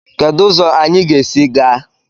Kedu ụzọ anyị ga-esi gaa?